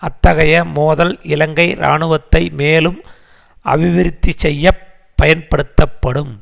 அத்தகைய மோதல் இலங்கை இராணுவத்தை மேலும் அபிவிருத்திசெய்யப் பயன்படுத்தப்படும்